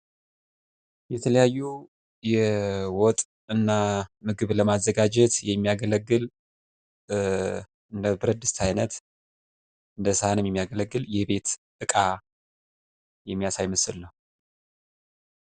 የተለያዩ የወጥና ምግብ ለማዘጋጀት የሚያገለግል እንደ ብረትድስት አይነት እንደ ሳህንም የሚያገለግል የቤት እቃ የሚያሳይ ምስል ነው።